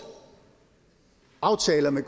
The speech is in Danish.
aftaler med